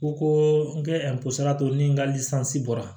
Ko ko n kɛ ni n ka bɔra